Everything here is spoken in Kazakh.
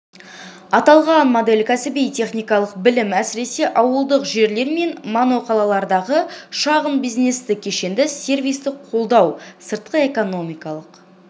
аталған модель кәсіби-техникалық білім әсіресе ауылдық жерлер мен моноқалалардағы шағын бизнесті кешенді сервистік қолдау сыртқы экономикалық